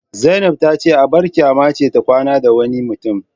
Zainab tace abar kyama ce ta kwana da wani mutum